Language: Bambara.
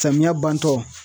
Samiya bantɔ